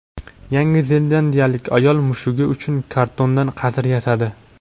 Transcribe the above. Yangi zelandiyalik ayol mushugi uchun kartondan qasr yasadi.